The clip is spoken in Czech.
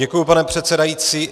Děkuji, pane předsedající.